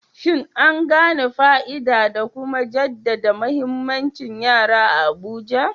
Shin an gane fa'ida da kuma jaddada muhimmancin yara a Abuja?